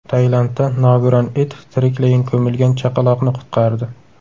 Tailandda nogiron it tiriklayin ko‘milgan chaqaloqni qutqardi.